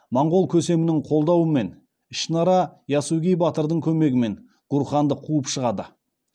монғол көсемінің қолдауымен ішінара ясугей батырдың көмегімен гурханды қуып шығады